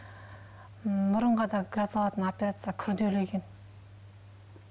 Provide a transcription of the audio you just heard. ммм мұрынға да жасалатын операция күрделі екен